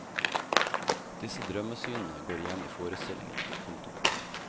Disse drømmesynene går igjen i forestillingen. punktum